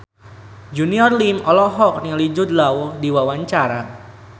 Junior Liem olohok ningali Jude Law keur diwawancara